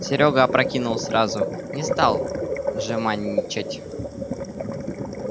серёга опрокинул сразу не стал жеманничать